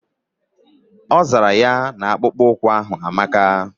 Ọzara ya na akpụkpọ ụkwụ ahu amaka